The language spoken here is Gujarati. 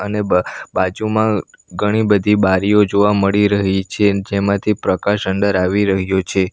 ને બા બાજુમાં ઘણી બધી બારીઓ જોવા મળી રહી છે જેમાંથી પ્રકાશ અંદર આવી રહ્યો છે.